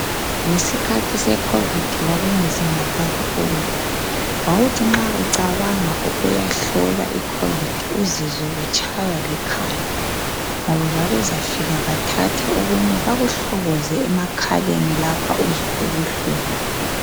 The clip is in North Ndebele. Ngesikhathi seCovid kwakunzima kakhulu. Wawuthi nxa ucabanga ukuyahlolwa iCovid uzizwe utshaywa likhanda ngoba babezafika bathathe okunye bakuhlokoze emakhaleni uzwe lapha ubuhlungu.